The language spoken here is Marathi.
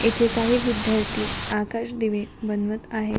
इथे काही विद्यार्थी आकाशदिवे बनवत आहेत.